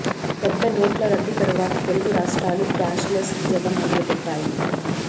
పెద్ద నోట్ల రద్దు తరువాత తెలుగు రాష్ట్రాలు క్యాష్ లెస్ జపం మొదలుపెట్టాయి